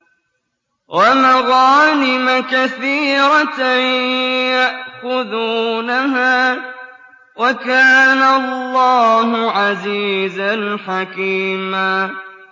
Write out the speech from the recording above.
وَمَغَانِمَ كَثِيرَةً يَأْخُذُونَهَا ۗ وَكَانَ اللَّهُ عَزِيزًا حَكِيمًا